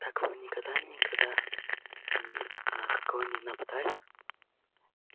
так вы никогда никогда ни на кого не нападали